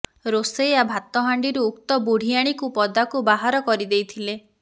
ରୋଷେୟା ଭାତ ହାଣ୍ଡିରୁ ଉକ୍ତ ବୁଢ଼ିଆଣୀକୁ ପଦାକୁ ବାହାର କରିଦେଇଥିଲେ